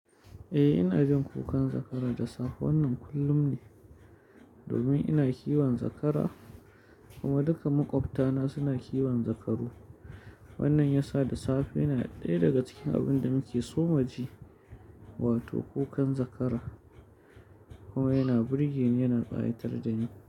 Eh, ina jin kukan zakara da safe wannan kullum ne domin ina kiwon zakara kuma duka maƙwabtana suna kiwon zakaru. Wannan ya sa da safe yana ɗaya daga cikin abin da muke so mu ji, wato kukan zakara kuma yana burge ni, yana ƙayatar da ni.